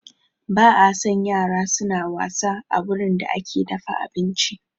Ba a son yara suna wasa a wurin da ake dafa abinci